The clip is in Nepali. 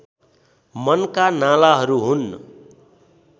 मनका नालाहरू हुन्